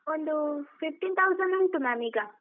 ಒಂದು fifteen thousand ಉಂಟು ma’am ಈಗ.